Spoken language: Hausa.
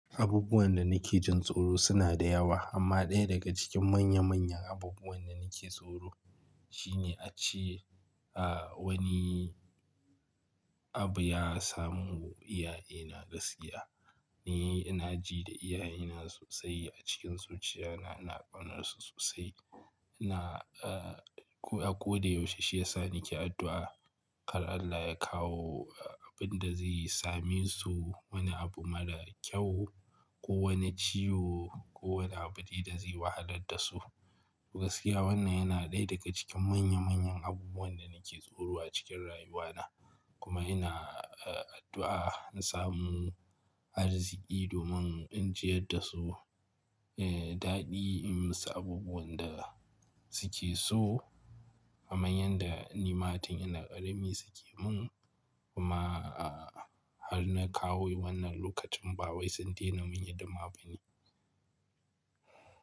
Abubuwan da nake jin tsoro suna da yawa amma ɗaya daga cikin manya manyan abubuwan da nake tsoro shine ace wani abu ya samu iyaye na gaskiya. Ni ina ji da iyaye na sosai a cikin zuciya na, ina ƙaunar su sosai. Na, a ko da yaushe shi yasa nake addu'a kar Allah ya kawo abin da zai same su wani abu mara kyau ko wani ciwo ko wani abu dai da zai wahalar da su. Gaskiya wannan yana ɗaya daga cikin manya manyan abubuwan da nake tsoro a cikin rayuwa na. Kuma ina addu'a in samu arziki domin in jiyar da su, eh daɗi, in musu abubuwan da suke so. Kaman yanda nima tun ina ƙarami suke mun, kuma har na kawo wannan lokacin ba wai sun daina mun hidima bane.